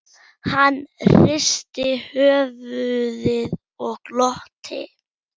Þjóðtrú í fornöld og nútíð